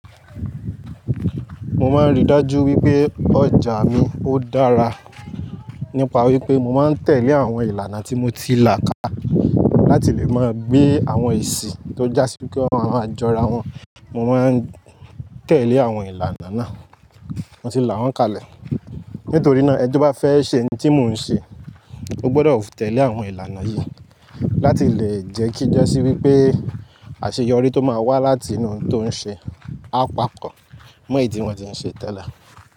Mo máa ń rí dájú wípé ọjà mi ó dára nípa wípé mo máa ń tẹ̀lé àwọn ìlànà tí mo ti là ká láti lè máa gbé àwọn èsì tó já sí wípé wọn má máa jọra wọn. Mo máa ń tẹ̀lé àwọn ìlànà náà, mo ti là wọ́n kalẹ̀. Nítorí náà ẹ tó bá fẹ́ ṣe ohun tí mò ń ṣe, o gbọdọ̀ tẹ̀lé àwọn ìlànà yìí láti lè jẹ́ kí jẹ́ sí wípé àṣeyọrí tó máa wá láti inú ohun tó ń ṣe á pàkọ́ mọ èyí tí wọn tí ń ṣe tẹ́lẹ̀.